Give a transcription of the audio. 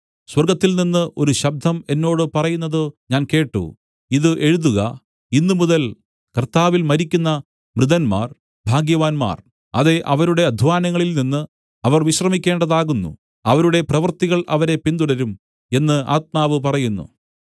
സ്വർഗ്ഗത്തിൽനിന്ന് ഒരു ശബ്ദം എന്നോട് പറയുന്നത് ഞാൻ കേട്ട് ഇതു എഴുതുക ഇന്ന് മുതൽ കർത്താവിൽ മരിക്കുന്ന മൃതന്മാർ ഭാഗ്യവാന്മാർ അതെ അവരുടെ അദ്ധ്വാനങ്ങളിൽ നിന്നു അവർ വിശ്രമിക്കേണ്ടതാകുന്നു അവരുടെ പ്രവൃത്തികൾ അവരെ പിന്തുടരും എന്നു ആത്മാവ് പറയുന്നു